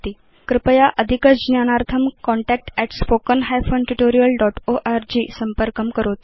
कृपया अधिकज्ञानार्थं contactspoken hyphen tutorial dot org संपर्कं करोतु